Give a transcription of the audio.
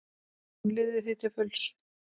Hún lifði því til fulls.